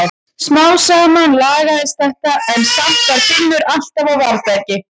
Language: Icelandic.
Smám saman lagaðist þetta en samt var Finnur alltaf á varðbergi.